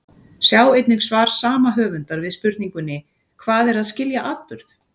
Sjá einnig svar sama höfundar við spurningunni Hvað er að skilja atburð?